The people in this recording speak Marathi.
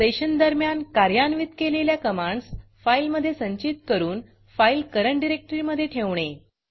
सेशन दरम्यान कार्यान्वित केलेल्या कमांडस फाईलमधे संचित करून फाईल करंट डिरेक्टरीमधे ठेवणे